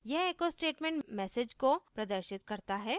यह echo statement message को प्रदर्शित करता है